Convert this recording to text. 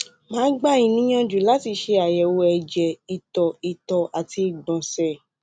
màá gbà yín níyànjú láti ṣe àyẹwò ẹjẹ ìtọ ìtọ àti ìgbọnsẹ